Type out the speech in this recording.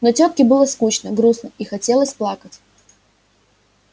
но тётке было скучно грустно и хотелось плакать